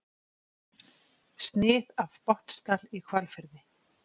Snið af Botnsdal í Hvalfirði.